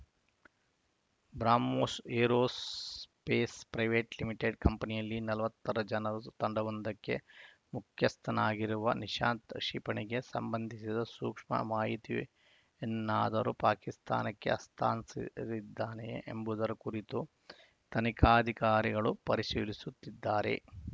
BrahMos aerospace private limited ಕಂಪನಿಯಲ್ಲಿ ನಲವತ್ತರ ಜನರ ತಂಡವೊಂದಕ್ಕೆ ಮುಖ್ಯಸ್ಥನಾಗಿರುವ ನಿಶಾಂತ್‌ ಕ್ಷಿಪಣಿಗೆ ಸಂಬಂಧಿಸಿದ ಸೂಕ್ಷ್ಮ ಮಾಹಿತಿಯನ್ನಾದರೂ ಪಾಕಿಸ್ತಾನಕ್ಕೆ ಹಸ್ತಾಂತರಿಸಿದ್ದಾನೆಯೇ ಎಂಬುದರ ಕುರಿತು ತನಿಖಾಧಿಕಾರಿಗಳು ಪರಿಶೀಲಿಸುತ್ತಿದ್ದಾರೆ